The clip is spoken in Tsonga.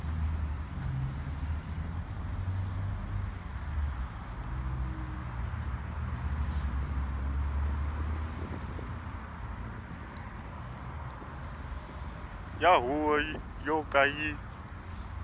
ya huvo yo ka yi